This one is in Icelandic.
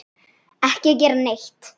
Ekki gera neitt.